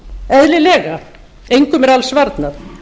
eðlilega engum er alls varnað